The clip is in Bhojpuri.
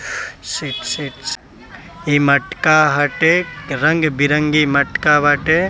शिट शिट इ मटका हटे रंग बिरंगे मटका बाटे |